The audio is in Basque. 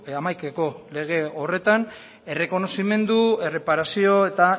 hamaikako lege horretan errekonozimendu erreparazio eta